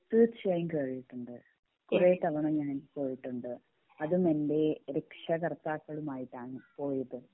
തീർച്ചയായും കേറീട്ടുണ്ട് കൊറേ തവണ ഞാൻ പോയിട്ടുണ്ട് അതും എൻ്റെ രക്ഷാകർത്താകളുമായിട്ടാണ് പോയത്